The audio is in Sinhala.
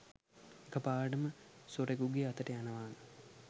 එකපාරටම සොරෙකුගේ අතට යනවානේ